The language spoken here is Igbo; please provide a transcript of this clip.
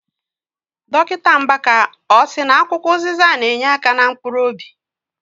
Dọkịta Mbaka, ọ sị na akwụkwọ ụzịza na- enyeaka na mkpuruobi?